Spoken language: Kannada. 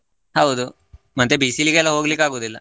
ಹೌದು ಮತ್ತೆ ಬಿಸಿಲಿಗೆಲ್ಲಾ ಹೋಗ್ಲಿಕ್ಕೂ ಆಗುವುದಿಲ್ಲ.